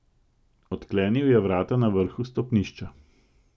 Odklenil je vrata na vrhu stopnišča.